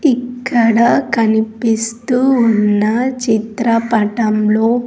ఇక్కడ కనిపిస్తూ ఉన్న చిత్రపటంలో.